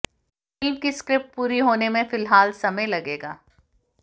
film की script पूरी होने में फिलहाल समय लगेगा